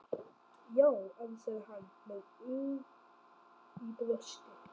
Já, ansaði hann með ugg í brjósti.